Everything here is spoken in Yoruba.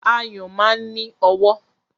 Ayùn máa ń ní ọwọ́.